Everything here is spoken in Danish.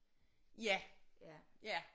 Ja ja